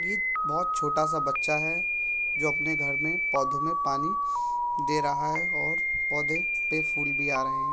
यहाँ पर तीन शटर है एक पंखा है और एक शटर में दो बोतलें है एक हरी वो एक लाल है।